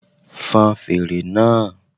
Fon fèrè náà